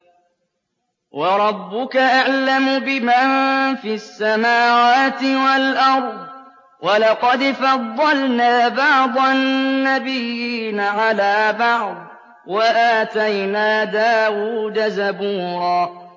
وَرَبُّكَ أَعْلَمُ بِمَن فِي السَّمَاوَاتِ وَالْأَرْضِ ۗ وَلَقَدْ فَضَّلْنَا بَعْضَ النَّبِيِّينَ عَلَىٰ بَعْضٍ ۖ وَآتَيْنَا دَاوُودَ زَبُورًا